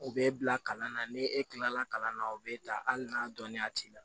U bɛ bila kalan na ni e kilala kalan na o bɛ ta hali n'a dɔnniya t'i la